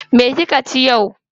Me kika ci yau?